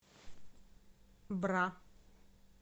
бра